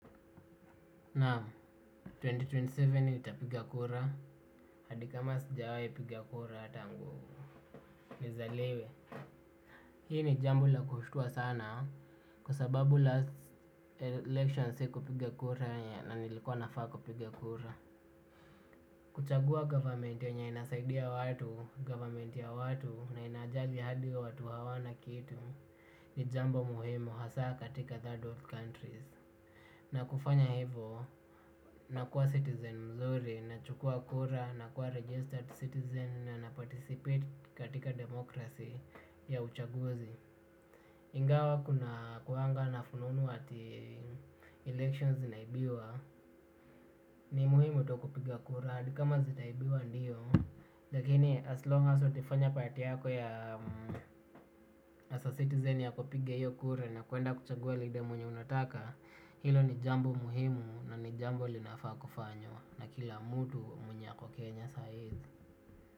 Naam, elfu mbili na ishirini na saba nitapiga kura, hadi kama sijawai piga kura tangu nizaliwe. Hii ni jambo la kushtua sana kwa sababu last election sikupiga kura na nilikuwa nafaa kupiga kura. Kuchagua government yenye inasaidia watu, government ya watu na inajali hadi watu hawana kitu. Ni jambo muhimu hasa katika third world countries. Na kufanya hivo nakuwa citizen mzuri nachukua kura nakuwa registered citizen na naparticipate katika democracy ya uchaguzi. Ingawa kuna kuwanga na fununu ati elections zinaibiwa ni muhimu tu kupiga kura hadi kama zitaibiwa ndio lakini as long as ulifanya part yako ya as a citizen ya kupiga hiyo kura na kuenda kuchagua leader mwenye unataka. Hilo ni jambo muhimu na ni jambo linafaa kufanywa na kila mtu mwenye ako Kenya sa hizi.